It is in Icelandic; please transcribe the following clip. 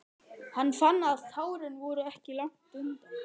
Hann fann að tárin voru ekki langt undan.